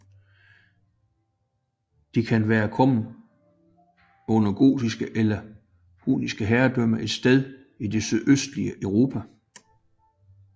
De kan være kommet under gotisk eller hunnisk herredømme et sted i det sydøstlige Europa